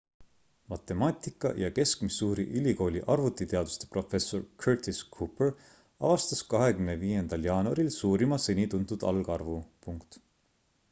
matemaatik ja kesk-missouri ülikooli arvutiteaduste professor curtis cooper avastas 25 jaanuaril suurima seni tuntud algarvu